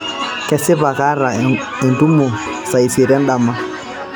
kesipa kaata entumo saa isiet endama